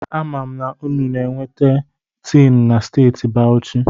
Ana m anu na a na-enweta tiinụ na Steeti Bawuchi.